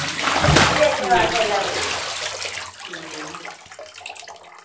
ബാക്കി എല്ലാം കുടിച്ചു